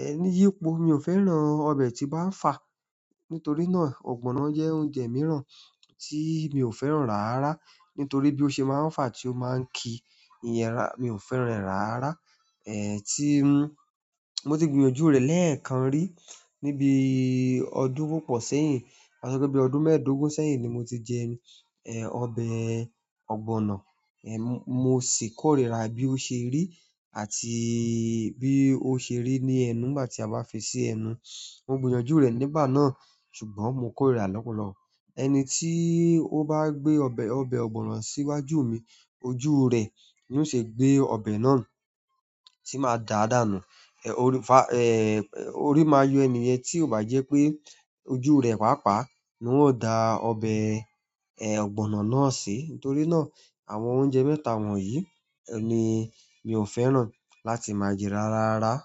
Ẹ́, yípo, mi ò fẹ́ràn ọbẹ̀ tí o bá fà. Nítorí náà ọ̀gbọ̀nọ̀ jẹ́ oúnjẹ mìíràn tí mi ò fẹ́ràn rárá. Nítorí bí ó ṣe máa ń fà tí ó máa ń ki iyẹ́ra, mi ò fẹ́ràn rẹ̀ rárá. Ẹ́, tí n-- mo ti gbìyànjú rẹ̀ lẹ́ẹ̀kan rí níbi ọdún púpọ̀ sẹ́yìn. Ka sọ pé bí ọdún mẹ́ẹ̀dógún sẹ́yìn ni mo ti jẹ, ẹ́, ọbẹ̀ ọ̀gbọ̀nọ̀. Ẹ̀, mo sì kórìíra bí ó ṣe rí àti bí ó ṣe rí ní ẹnu nígbà tí a bá fi sí ẹnu. Mo gbìyànjú nìgbà náà ṣùgbọ́n mo ko rírà rẹ lọpọlọpọ. Ẹni tí ó bá gbé ọbẹ̀, ọbẹ̀ ọ̀gbọ̀nọ̀ síwájú mi, ojú rẹ̀ ni yóò ṣe gbé ọbẹ̀ náà tí màá dàádànù. Ẹ̀, orí, fà, ẹ́, orí máa yọ ẹni yẹn tí ò bá jẹ́ pé ojú rẹ̀ pàápàá ni wọn óò da ọbẹ̀, ẹ́, ọ̀gbọ̀nọ̀ náà sí. Nítorí náà, àwọn oúnjẹ mẹ́ta wọ̀nyí ni mi ò fẹ́ràn láti máa jẹ rárá rárá.